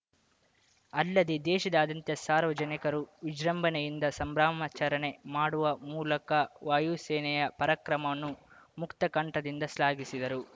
ಅಲ್ಲದೆ ದೇಶಾದಾದ್ಯಂತ ಸಾರ್ವಜನಿಕರು ವಿಜೃಂಭಣೆಯಿಂದ ಸಂಭ್ರಮಾಚರಣೆ ಮಾಡುವ ಮೂಲಕ ವಾಯು ಸೇನೆಯ ಪರಾಕ್ರಮವನ್ನು ಮುಕ್ತಕಂಠದಿಂದ ಶ್ಲಾಘಿಸಿದರು